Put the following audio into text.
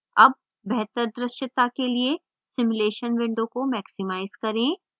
अब बेहतर द्रश्यता के लिए simulation window को maximize करें